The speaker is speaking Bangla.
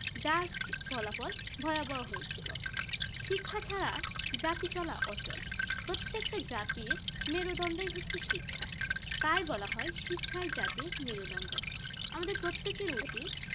যার ফলাফল ভয়াবহ হয়েছিল শিক্ষা ছাড়া জাতি চলা আঁচল প্রত্যেকটা জাতির মেরুদন্ড হচ্ছেই শিক্ষা, তাই বলা হয় শিক্ষায় জাতির মেরুদন্ড আমাদের প্রত্যেকের উচিত